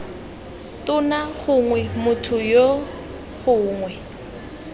tona gongwe motho yoo gongwe